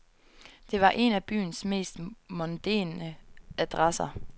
Det var en af byens mest mondæne adresser.